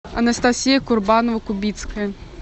анастасия курбанова кубицкая